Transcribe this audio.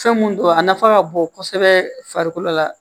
Fɛn mun don a nafa ka bon kosɛbɛ farikolo la